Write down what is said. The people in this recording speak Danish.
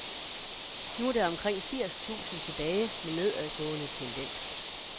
Nu er der omkring firs tusind tilbage med nedadgående tendens.